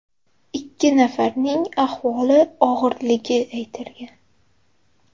Ikki nafarining ahvoli og‘irligi aytilgan.